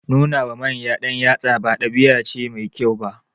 Nuna wa manya ɗanyatsa ba ɗabi'a ce mai kyau ba.